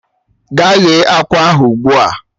Gaa ghe akwa ahụ ugbu a!